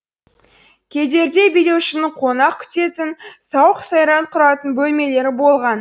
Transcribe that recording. кедерде билеушінің қонақ күтетін сауық сайран құратын бөлмелері болған